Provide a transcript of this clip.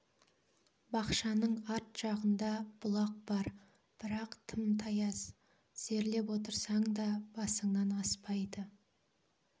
бақшаның арт жағында бұлақ бар бірақ тым таяз тізерлеп отырсаң да басыңнан аспайды